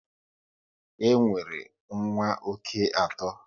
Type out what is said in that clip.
E nwere nwa oké atọ